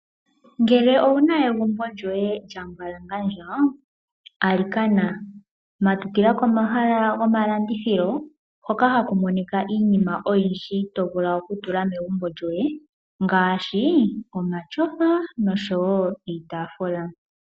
Ngele owuna egumbo lyoye lya mbwalangandja, alikana matukila komahala gomalandithilo hoka ha ku monika iinima oyindji to vulu oku tula megumbo lyoye ngaashi; omatyofa nosho woo iitaafula.